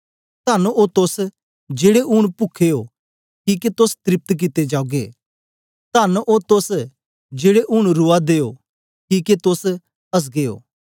तन्न ओ तोस जेड़े ऊन पुखे ओ सेर किके त्रेप्त कित्ते जागेओ तन्न ओ तोस जेड़े ऊन रुआदे ओ किके तोस असगे ओ